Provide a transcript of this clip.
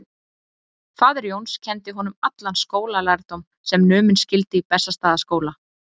Faðir Jóns kenndi honum allan skólalærdóm sem numinn skyldi í Bessastaðaskóla.